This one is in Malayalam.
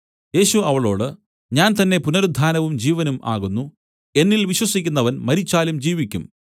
യേശു അവളോട് ഞാൻ തന്നേ പുനരുത്ഥാനവും ജീവനും ആകുന്നു എന്നിൽ വിശ്വസിക്കുന്നവൻ മരിച്ചാലും ജീവിക്കും